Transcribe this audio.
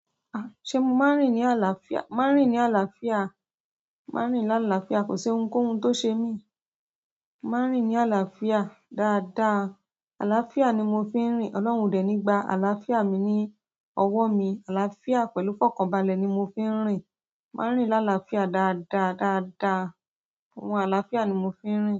Ṣé mo máa ń rìn ní àlàáfíà? Máa ń rìn ní àlàáfíà. Máa ń rìn lálàáfíà. Kò sí ohunkóhun tó ṣe mí. Màá rìn ní àlàáfíà dáadáa. Àlàáfíà ni mo fi ń rìn. Ọlọ́run o dẹ̀ ní gba àlàáfíà mi ní ọwọ́ mi. Àlàáfíà pẹ̀lú fọkànbalẹ̀ ni mo fi ń rìn. Màá ń rìn lálàáfíà dáadáa, dáadáa. Ohun àlàáfíà ni mo fi ń rìn.